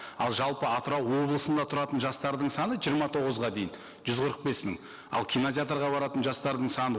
ал жалпы атырау облысында тұратын жастардың саны жиырма тоғызға дейін жүз қырық бес мың ал кинотеатрға баратын жастардың саны